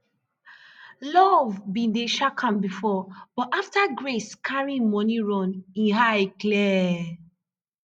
love bin dey shack am before but after grace carry im money run im eye clear